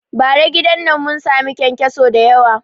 Bara gidan nan mun sami kyankyasu dayawa